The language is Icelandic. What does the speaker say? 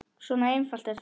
Svona einfalt er það.